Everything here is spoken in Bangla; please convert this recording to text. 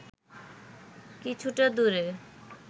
কিছুটা দূরে